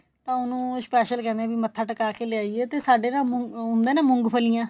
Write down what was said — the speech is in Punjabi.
ਤਾਂ ਉਹਨੂੰ special ਕਹਿਨੇ ਵੀ ਮਥਾ ਟਿਕਾ ਕੇ ਲਿਆਈਏ ਤੇ ਸਾਡੇ ਨਾ ਹੁੰਦਾ ਨਾ ਮੂੰਗਫਲੀਆਂ